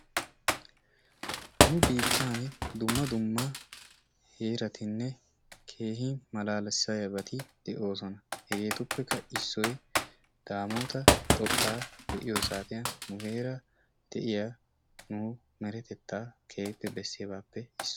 Nu biittaani dumma dumma heeratinne keehin malaalissiyabati de"oosona hegeetuppekka issoyi daamoota xoqqaa be"iyo saatiyan nu heeran de"iya meretettaa keehippe bessiyabaappe issuwa.